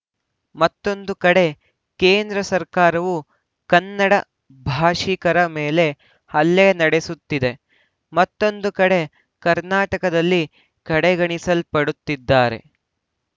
ಮತ್ತೊಂದು ಕಡೆ ಕೇಂದ್ರ ಸರ್ಕಾರವು ಕನ್ನಡ ಭಾಷಿಕರ ಮೇಲೆ ಹಲ್ಲೆ ನಡೆಸುತ್ತಿದೆ ಮತ್ತೊಂದು ಕಡೆ ಕರ್ನಾಟಕದಲ್ಲಿ ಕಡೆಗಣಿಸಲ್ಪಡುತ್ತಿದ್ದಾರೆ